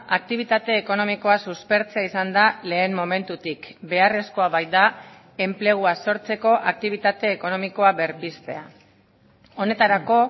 aktibitate ekonomikoa suspertzea izan da lehen momentutik beharrezkoa baita enplegua sortzeko aktibitate ekonomikoa berpiztea honetarako